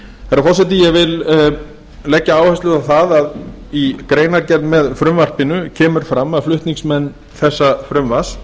herra forseti ég vil leggja áherslu á það að í greinargerð með frumvarpinu kemur fram að flutningsmenn þessa frumvarps